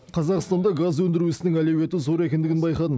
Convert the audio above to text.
қазақстанда газ өндіру ісінің әлеуеті зор екендігін байқадым